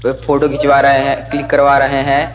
वे photo घिचवा रहे हैं क्लिक करवा रहे हैं।